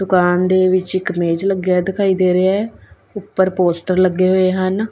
ਦੁਕਾਨ ਦੇ ਵਿੱਚ ਇੱਕ ਮੇਜ ਲੱਗਿਆ ਦਿਖਾਈ ਦੇ ਰਿਹਾ ਹੈ ਉੱਪਰ ਪੋਸਟਰ ਲੱਗੇ ਹੋਏ ਹਨ।